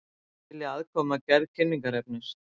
Vilja aðkomu að gerð kynningarefnis